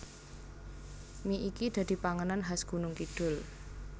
Mie iki dadi panganan khas Gunungkidul